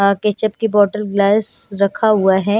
Ketchup की बोतल glass रखा हुआ है।